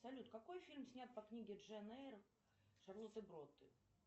салют какой фильм снят по книге джейн эйр шарлотты бронте